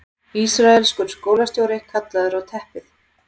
Ísraelskur skólastjóri kallaður á teppið